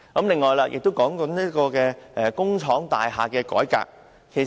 此外，大家亦提到工廠大廈改變用途。